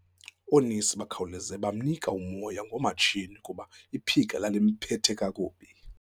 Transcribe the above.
Oonesi bakhawuleza bamnika umoya ngomatshini kuba iphika lalimphethe kakubi.